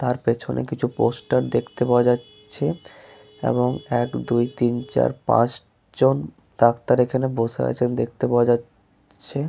তার পেছনে কিছু পোস্টার দেখতে পাওয়া যাচ্ছে এবং এক দুই তিন চার পাঁচ জন ডাক্তার এইখানে বসে রয়েছেন দেখতে পাওয়া যাচ চ্ছে।